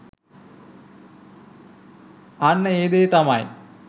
අන්න ඒ දේ තමයි